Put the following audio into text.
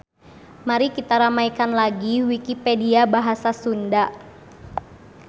Mari kita ramaikan lagi wikipedia bahasa Sunda.